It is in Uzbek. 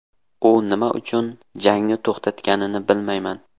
U nima uchun jangni to‘xtatganini bilmayman.